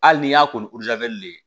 Hali n'i y'a ko ni de ye